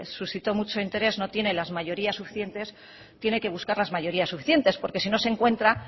suscitó mucho interés no tiene las mayorías suficientes tiene que buscar las mayorías suficientes porque si no se encuentra